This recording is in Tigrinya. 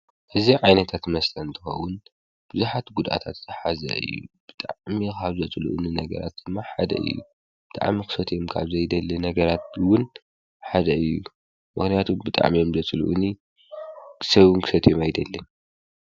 እዚ ዓይነታት መስለ እንተዎዉን ብዙኃት ጕድኣታትሓዘይ እዩ ብጥዓሚኻብዘጽልኡኒ ነገራት እማ ሓደይ እዩ ብጥዕም ኽሰት የምካብ ዘይደሊ ነገራትውን ሓደ እዩ መኽንያቱ ብጥዕም የምዘ ጽልኡኒ ሰውንክሰት የም ኣይደልን።